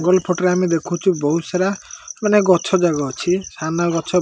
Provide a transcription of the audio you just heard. ଏ photo ରେ ଆମେ ଦେଖୁଚୁ ବୋହୁତ୍ ସାରା ମାନେ ଗଛ ଜାଗା ଅଛି ସାମ୍ନା ଗଛ --